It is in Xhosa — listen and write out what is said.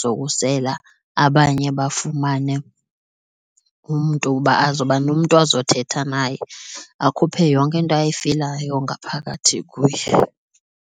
zokusela abanye bafumane umntu uba azoba nomntu azothetha naye akhuphe yonke into ayifilayo ngaphakathi kuye.